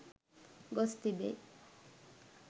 ගොස් තිබේ.